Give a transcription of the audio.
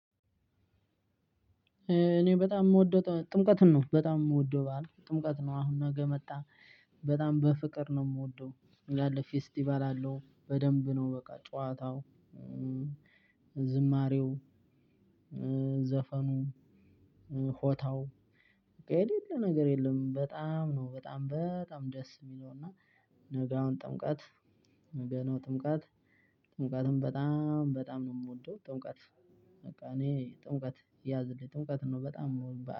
እኔ በጣም የምወደው ጥምቀትን ነው በጣም የምወደው በዓል ጥምቀት ነው አሁን ነገ መጣ በጣም በፍቅር ነው የምወደው። ያለ ፌስቲቫል አለው በደንብ ነው። በቃ ጨዋታው ዝማሬው ዘፈኑ ሆታው በቃ የሌለ ነገር የለም። በጣም ነው በጣም በጣም ደስ የሚለው እና። ነገ አሁን ጥምቃት ነገ ጥምቀት ጥምቀትን በጣም በጣም ነው የምወደው ጥምቀት። በቃ እኔ ጥምቀት ያዝልኝ ጥምቀት ነው በጣም እምወደው በዓል